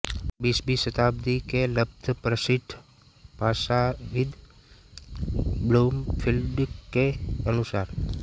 बीसवीं शताब्दी के लब्धप्रतिष्ठ भाषाविद् ब्लूमफ़ील्ड के अनुसार